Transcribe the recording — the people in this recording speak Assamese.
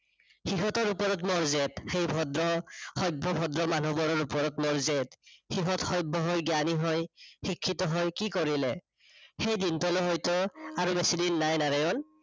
সিহতৰ ওপৰত মোৰ জেদ। সেই ভদ্ৰ, সভ্য-ভদ্ৰ মানুহবোৰৰ ওপৰত মোৰ জেদ। সিহত সভ্য হৈ, জ্ঞানী হৈ শিক্ষিত হৈ কি কৰিলে? সেই দিনটোলৈ হয়টো আৰু বেছিদিন নাই নাৰায়ন।